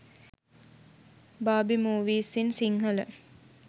barbie movies in sinhala